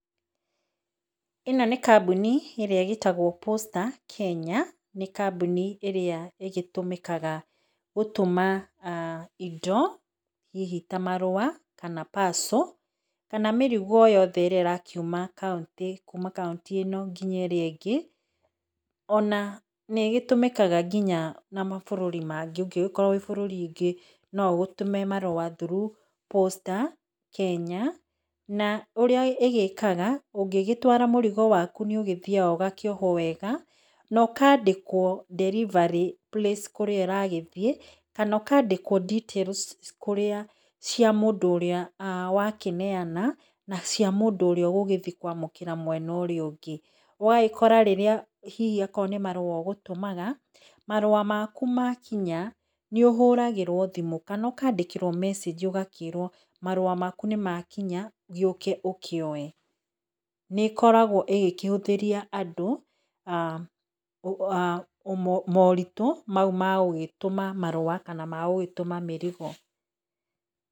Ĩno nĩ kambuni ĩrĩa ĩgĩtagwo posta Kenya nĩ kambuni ĩrĩa ĩgĩtũmĩkaga gũtũma indo hihi ta marũa kana parcel kana mĩrigo yothe kuma kauntĩ nginya kaũntĩ ĩngĩ ona nĩgĩtũmĩkaga nginya na mabũrũri mangĩ ona ũngĩkorwo wĩ bũrũri -inĩ ũngĩ noũgĩtũme marũa through posta Kenya na ũrĩaĩgĩkaga ũngĩgĩtũma mũrigo waku nĩũthiaga ũgakĩoho wega na ũkandĩkwo delivery place kana details kũrĩa, cia mũndũ ũrĩa wakĩneana na cia mũndũ ũrĩa ũgũgĩthiĩ kwa mũkĩra mwena ũrĩa ũngĩ. ũgagĩkora hihi akorwo nĩ marũa ũgũtũmaga. Marũa maku makinya nĩũhũragĩrwo thimũ kana ũkandĩkĩrwo mecenji ũgakĩrwo marũa maku nĩmakinya gĩũke ũkĩoe. Nĩ gĩkoragwo ĩkĩhũthĩria andũ [ah]mũritũ mau ma gũgĩtũma marũa kana mau magũgĩtũma mĩrigo.